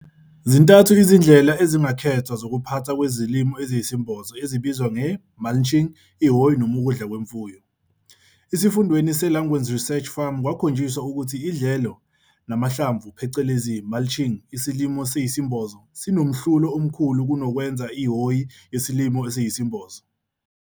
Zintathu izindlela ezingakhethwa zokuphathwa kwezilimo eziyesembozo ezibizwa, nge-mulching, ihhoyi noma ukudla kwemfuyo. Isifundweni se-Langgewens Research Farm kwakhonjiswa ukuthi idlelo namahlamvu phecelezi mulching isilimo esiyisembozo sinomhlulo omkhulu kunokwenza ihhoyi yesilimo esiyisembozo.